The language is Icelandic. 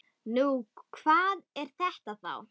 Nú, hvað er þetta þá?